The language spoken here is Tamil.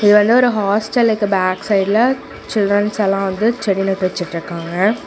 இது வந்து ஒரு ஹாஸ்டலுக்கு பேக் சைடுல சில்ட்ரன்ஸ் எல்லா வந்து செடி நெட்டு வெச்சுட்டு இருக்காங்க.